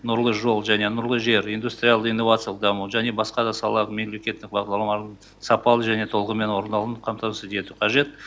нұрлы жол және нұрлы жер индустриалды инновациялық даму және басқа да салалық мемлекеттік бағдарламалардың сапалы және толығымен орындалуын қатмамасыз ету қажет